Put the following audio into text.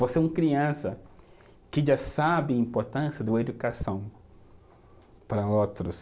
Você é uma criança que já sabe a importância da educação para outros.